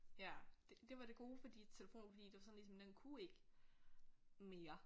Ja det det var det gode fordi telefonen fordi det var sådan ligesom den kunne ikke mere